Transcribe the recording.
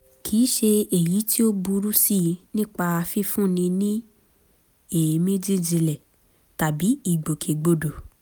kìí ṣe èyí tí ó burú sí i nípa fífúnni ní èémí jíjinlẹ̀ tàbí ìgbòkègbodò